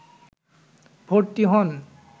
ভর্তি হন